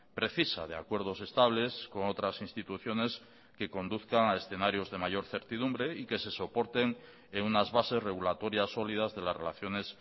precisa de acuerdos estables con otras instituciones que conduzcan a escenarios de mayor certidumbre y que se soporten en unas bases regulatorias sólidas de las relaciones